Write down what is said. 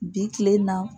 Bi kilen na